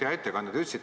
Hea ettekandja!